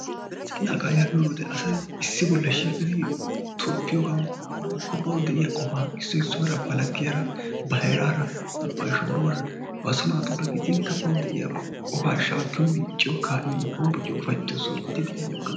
naqaayaa giyooge wode asay issi bolli shiiqqidi tobbiyoogan woykko bawu de'iyaa qofaa ba laggiyaara ba heraara ba shooruwaara ba so naatura gidinkka bawu de'iyaaba qofaa shaakiyoo micciyiyoo honbbocciyoo soho gididi maaddees.